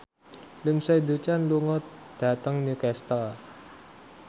Lindsay Ducan lunga dhateng Newcastle